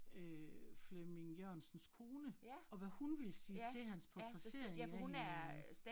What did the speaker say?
Øh Flemming Jørgensens kone, og hvad hun ville sige til hans portrættering af hende